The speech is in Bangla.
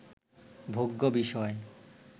ভোগ্য বিষয়